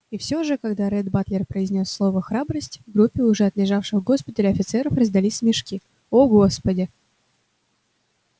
и всё же когда ретт батлер произнёс слово храбрость в группе уже отлежавших в госпитале офицеров раздались смешки о господи